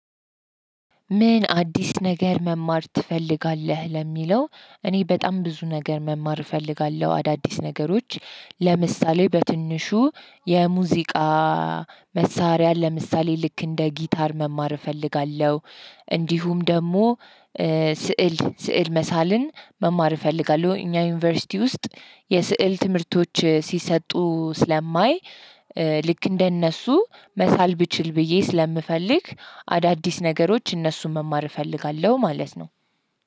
ምን አዲስ ነገር መማር ትፈልጋለህ? ለሚለው፤ እኔ በጣም ብዙ ነገር መማር እፈልጋለሁ አዳዲስ ነገሮች ለምሳሌ በትንሹ የሙዚቃ መሳሪያ ለምሳሌ ልክ እንደ ጊታር መማር እፈልጋለሁ፤ እንዲሁም ደግሞ ስዕል ስዕል መሳልን መማር እፈልጋለሁ። እኛ ዩኒቨርሲቲ ውስጥ የስዕል ትምህርቶች ሲሰጡ ስለማይ ልክ እንደነሱ መሳል ብችል ብዬ ስለምፈልግ አዳዲስ ነገሮች እነሱን መማር እፈልጋለሁ ማለት ነው።